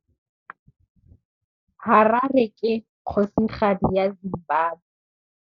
Harare ke kgosigadi ya Zimbabwe.